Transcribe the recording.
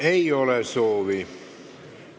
Ei ole soovi.